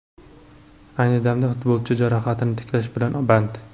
Ayni damda futbolchi jarohatini tiklash bilan band.